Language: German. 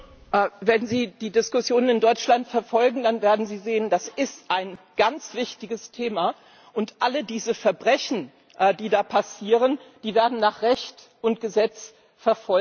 Wenn Sie die Diskussion in Deutschland verfolgen, dann werden Sie sehen Das ist ein ganz wichtiges Thema, und alle diese Verbrechen, die da passieren, werden nach Recht und Gesetz verfolgt.